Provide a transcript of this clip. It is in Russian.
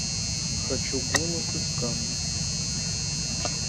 хочу голос из камня